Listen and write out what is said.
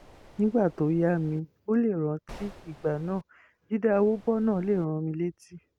nígbà tó yá mi ò lè rántí ìgbà náà jíde àwòbọ́nà lè rán mi létí